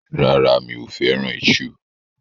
Rárá, mi ò fẹ́ràn iṣu.